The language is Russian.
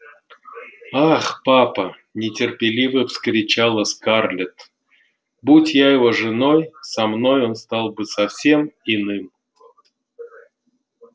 ах папа нетерпеливо вскричала скарлетт будь я его женой со мной он стал бы совсем иным